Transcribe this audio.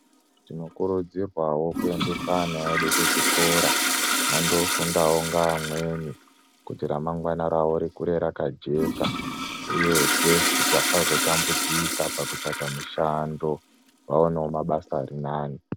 Tinokurudzirwawo kuendese ana edu kuzvikora vandofunda ngaamweni kuti ramangwanaravo rikure rakajeka, uyezve kuti vasazotambudzika pakutsvaga mushando ,vawanewo mabasa arinani.